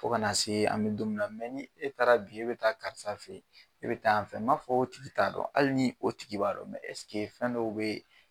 Fo kana see an bɛ don mi na ni e taara bi e be taa karisa fe ye, e be taa yan fɛ ma fɔ o tigi t'a dɔn, hali ni o tigi b'a dɔn fɛn dɔw bee